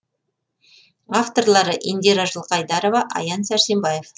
авторлары индира жылқайдарова аян сәрсенбаев